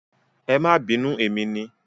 Ẹ máa bínú emi ni.